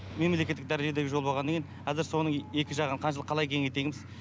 мемлекеттік дәрежедегі жол болғаннан кейін қазір соның екі жағын қанша қалай кеңейтеміз